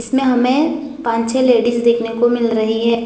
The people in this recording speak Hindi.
इसमें हमें पांच छे लेडिज देखने को मिल रही है।